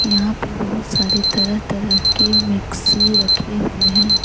यहां पे बहुत सारे तरह तरह के मिक्सी रखे हुए हैं।